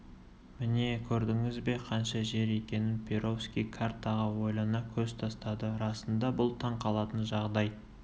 міне көрдіңіз бе қанша жер екенін перовский картаға ойлана көз тастады расында бұл таң қалатын жағдай